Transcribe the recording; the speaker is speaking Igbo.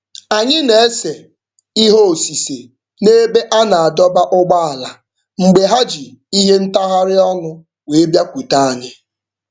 Anyị na-ese ihe osise n'ebe a na-adọba ụgbọala mgbe ha ji ihe ntagharị ọnụ wee bịakwute anyị.